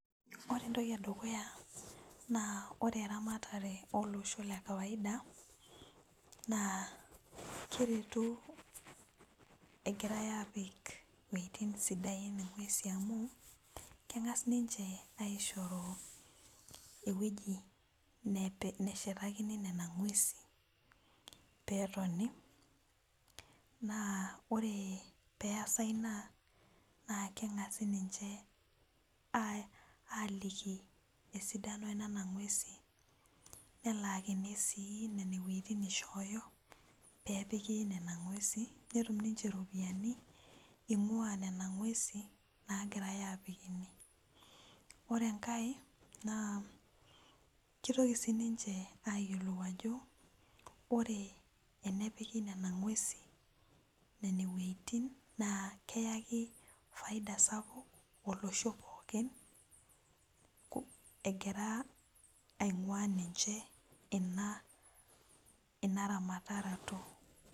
ore entoki edukuya naa ore eramatare oloso le kawaida naa keretu egirae aapik iweuitin sidain ing'uesi amu kengas ninche aishoru, ewueji neshetakini nena ng'uesi pee etoni. naa ore pee eesa ina naaa keng'asi ninche aaliki esidano enana ng'uesi. nelaakini sii nen wuejitin nishooyo pee epiki nena ng'uesi nepik ninche nena ropiyiani, ing'uaa nena ng'uesi naagirae aapik ine. ore enkae naa kitoki sii ninche aayiolou ajo ore enepiki nena ng'uesi, nene wueitin naa keyaki faida sapuk olosho pookin, egira aing'ua ninche ina ramatarato.